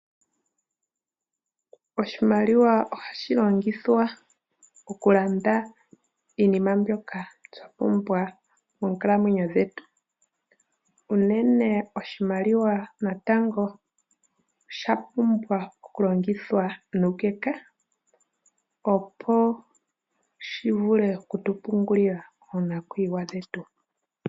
Oshimaliwa ohashi longithwa oku landa iinima mbyoka twa pumbwa monkalamwenyo dhetu, unene oshimaliwa natango osha pumbwa okulongithwa nuukeka opo shi vule oku tu pungulila moonakuyiwa dhetu.